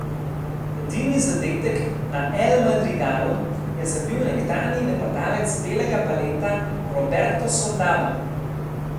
Edini zadetek na El Madrigalu je zabil nekdanji napadalec belega baleta Roberto Soldado.